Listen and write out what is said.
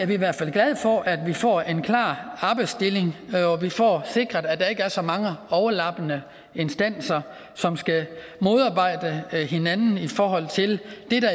vi i hvert fald glade for at vi får en klar arbejdsdeling og at vi får sikret at der ikke er så mange overlappende instanser som skal modarbejde hinanden i forhold til